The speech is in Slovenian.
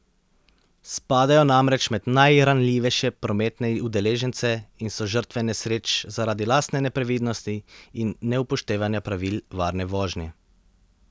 Spadajo namreč med najranljivejše prometne udeležence in so žrtve nesreč zaradi lastne neprevidnosti in neupoštevanja pravil varne vožnje.